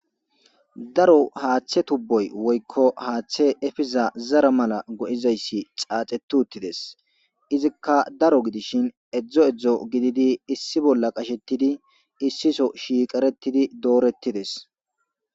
Daro haaththe tubboy woykko haaththe efiza zara mala go'izayssi xaaxetuttides izikka daro gidishin edzdzo edzdzo gididi issi bolla qashettidi issiso shiiqaretidi doorettides.